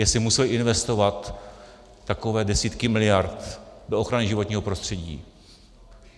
Jestli museli investovat takové desítky miliard do ochrany životního prostředí.